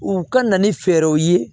U ka na ni fɛɛrɛw ye